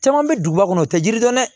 Caman bɛ duguba kɔnɔ u tɛ jiri dɔn dɛ